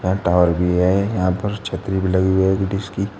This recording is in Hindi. टावर भी है यहां पर छतरी भी लगी हुई है एक डिश की।